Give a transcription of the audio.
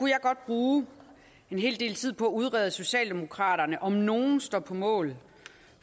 jeg godt bruge en hel del tid på at udrede at socialdemokraterne om nogen står på mål